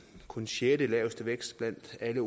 kun sjettelaveste vækst blandt alle